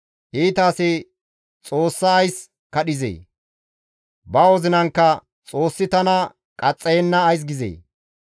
Iita asi Xoossa ays kadhizee? Ba wozinankka, «Xoossi tana qaxxayenna» ays gizee?